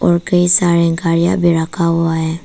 और कई सारे गाड़िया भी रखा हुआ हैं।